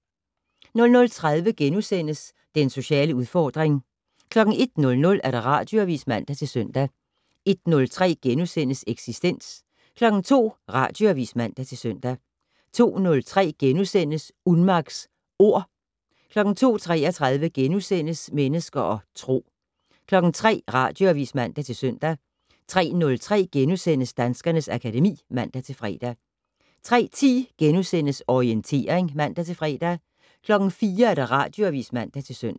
00:30: Den sociale udfordring * 01:00: Radioavis (man-søn) 01:03: Eksistens * 02:00: Radioavis (man-søn) 02:03: Unmacks Ord * 02:33: Mennesker og Tro * 03:00: Radioavis (man-søn) 03:03: Danskernes akademi *(man-fre) 03:10: Orientering *(man-fre) 04:00: Radioavis (man-søn)